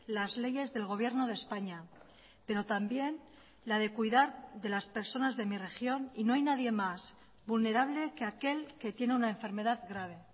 las leyes del gobierno de españa pero también la de cuidar de las personas de mi región y no hay nadie más vulnerable que aquel que tiene una enfermedad grave